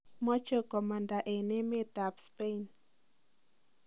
Moche komanda en emet ab Spain .